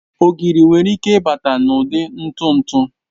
Ogiri nwere ike ịbata n'ụdị ntụ ntụ